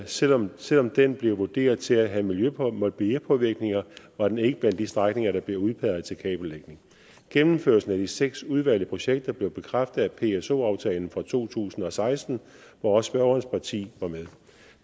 selv om selv om den blev vurderet til at have miljøpåvirkninger var den ikke blandt de strækninger der blev udpeget til kabellægning gennemførelsen af de seks udvalgte projekter blev bekræftet i pso aftalen fra to tusind og seksten hvor også spørgerens parti var med